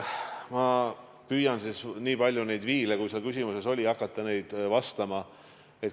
Ma püüan siis nüüd hakata kõiki neid viile, mis seal küsimuses oli, vastama.